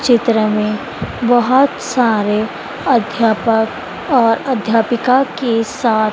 चित्र में बहुत सारे अध्यापक और अध्यापिका के साथ--